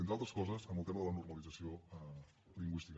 entre altres coses en el tema de la normalització lingüística